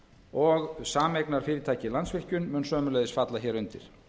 og sameignarfyrirtækið landsvirkjun mun sömuleiðis falla hér undir